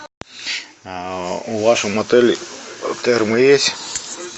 в вашем отеле термы есть